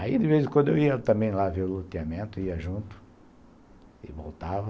Aí, de vez em quando, eu ia também lá ver o loteamento, ia junto e voltava.